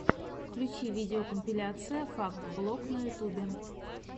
включи видеокомпиляция факт блог на ютубе